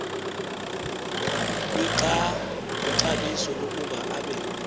kwixabiso lokuba abe